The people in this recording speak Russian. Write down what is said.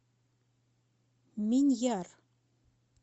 миньяр